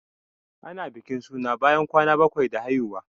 Ana bikin suna ne bayan kwana bakwai da haihuwa.